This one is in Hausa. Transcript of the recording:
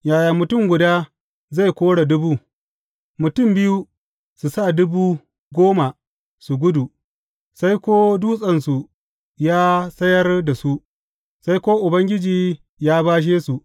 Yaya mutum guda zai kore dubu, mutum biyu su sa dubu goma su gudu, sai ko Dutsensu ya sayar da su, sai ko Ubangiji ya bashe su.